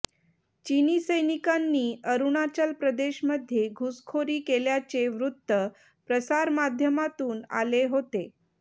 चीनी सैनिकांनी अरूणाचल प्रदेशमध्ये घुसखोरी केल्याचे वृत्त प्रसारमाध्यमांतून आले होते